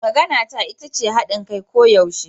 Maganata ita ce hadin kai koyaushe.